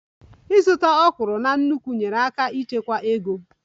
Ịzụta okra na nnukwu nyeere aka ịchekwa ego